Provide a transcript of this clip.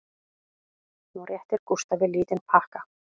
Hún réttir Gústafi lítinn pakka